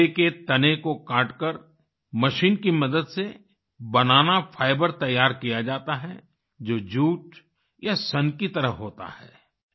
केले के तने को काटकर मशीन की मदद से बनाना फाइबर तैयार किया जाता है जो जूट या सन की तरह होता है